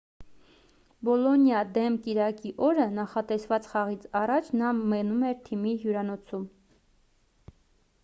բոլոնիայիա դեմ կիրակի օրը նախատեսված խաղից առաջ նա մնում էր թիմի հյուրանոցում